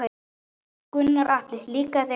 Gunnar Atli: Líkaði þér gangan?